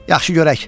Yaxşı görək.